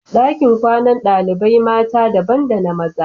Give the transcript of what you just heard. Dakin kwanan dalibain mata daban da na maza.